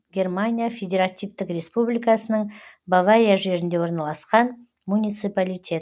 германия федеративтік республикасының бавария жерінде орналасқан муниципалитет